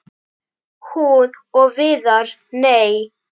Hún og Viðar- nei!